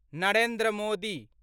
Narendra Modi